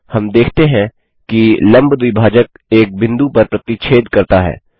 हम देखते हैं कि लम्ब द्विभाजक एक बिंदु पर प्रतिच्छेद करता है